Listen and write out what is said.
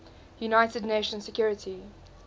united nations security